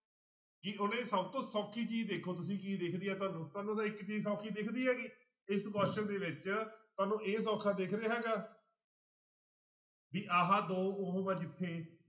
ਕਿ ਉਹਨੇ ਸਭ ਤੋਂ ਸੌਖੀ ਚੀਜ਼ ਦੇਖੋ ਤੁਸੀਂ ਕੀ ਦਿਖਦੀ ਹੈ ਤੁਹਾਨੂੰ ਤੁਹਾਨੂੰ ਤਾਂ ਇੱਕ ਚੀਜ਼ ਸੌਖੀ ਦਿਖਦੀ ਹੈਗੀ ਇਸ question ਦੇ ਵਿੱਚ ਤੁਹਾਨੂੰ ਇਹ ਸੌਖਾ ਦਿਖ ਰਿਹਾ ਹੈਗਾ ਵੀ ਆਹ ਦੋ ਉਹ ਆ ਜਿੱਥੇ